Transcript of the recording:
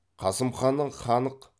қасым ханның ханық